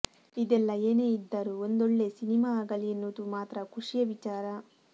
ಇದೆಲ್ಲ ಏನೇ ಇದ್ದರೂ ಒಂದೊಳ್ಳೆ ಸಿನಿಮಾ ಆಗಲಿ ಎನ್ನುವುದು ಮಾತ್ರ ಖುಷಿಯ ವಿಚಾರ